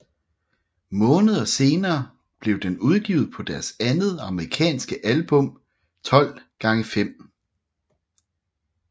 Måneder senere blev den udgivet på deres andet amerikanske album 12 X 5